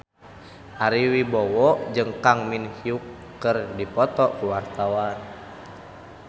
Ari Wibowo jeung Kang Min Hyuk keur dipoto ku wartawan